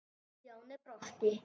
Stjáni brosti.